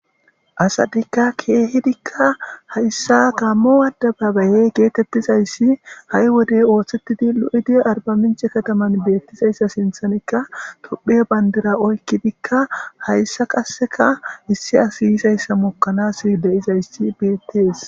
Asatika keehidika haysa gaamo adebabaye getetizaysi betes, ha'i wode osetida lo'id arbamince kataman beetizysa ainthanika tophiya bandira oykidika haysa qase issi asiy yizaysa mokanas de'izays betes